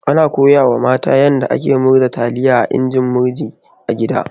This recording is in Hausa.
Ana koya wa mata yanda ake murza taliya da injin murji a gida.